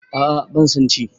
A'a ban son ci